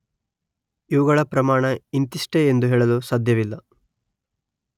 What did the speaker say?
ಇವುಗಳ ಪ್ರಮಾಣ ಇಂತಿಷ್ಟೇ ಎಂದು ಹೇಳಲು ಸಾಧ್ಯವಿಲ್ಲ.